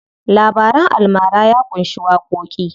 Labaran almara ya ƙunshi waƙoƙi.